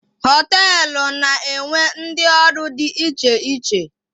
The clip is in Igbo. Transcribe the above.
Hoteelu na-enwe ndị ọrụ dị iche iche.